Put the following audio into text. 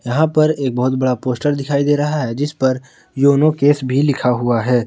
यहां पर एक बहोत बड़ा पोस्टर दिखाई दे रहा है जिस पर योनो कैश भी लिखा हुआ है।